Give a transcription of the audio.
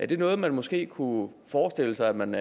det noget man måske kunne forestille sig at man